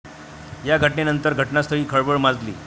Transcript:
या घटनेनंतर घटनास्थळी खळबळ माजली.